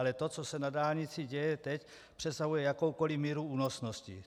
Ale to, co se na dálnici děje teď, přesahuje jakoukoli míru únosnosti.